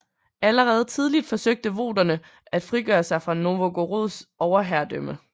Allerede tidligt forsøgte voterne at frigøre sig fra Novgorods overherredømme